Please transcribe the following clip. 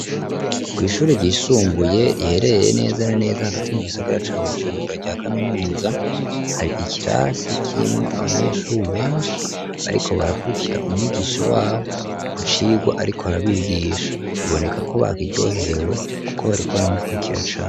Ko'ishuri ryishumbuye rihereye neza na neza hagati mu gisogara ca bujirumbura rya kaminuza hari ikirasi kimwo abanyeshuri benshi bariko barakurikira umwigisha wabo ku cirwa, ariko barabigisha biboneka ko bakiryoherewe, kuko bariko baramukurikira cane.